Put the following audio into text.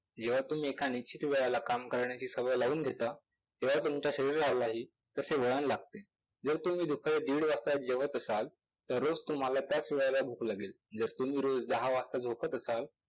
जेंव्हा तुम्ही एकाने किती वेळेला काम करण्याची सवय लावून घेता तेंव्हा तुमच्या शरीरालाही तसे वळण लागते. जर तुम्ही दुपारी एक वाजता जेवत असाल तरच तुम्हाला त्याच वेळेला भूक लागेल. जर तुम्ही रोज दहा वाजता झोपत असाल